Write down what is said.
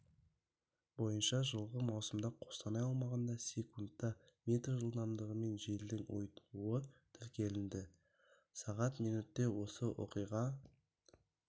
бойынша жылғы маусымда қостанай аумағында секундта метр жылдамдығымен желдің ұйтқуы тіркелінді сағат минутте осы оқиған